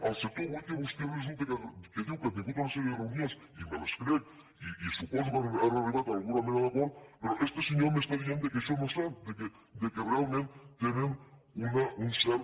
el sector oví que vostè resulta que diu que ha tingut una sèrie de reunions i me les crec i suposo que han arribat a alguna mena d’acord però este senyor m’està dient que això no és cert que realment tenen un cert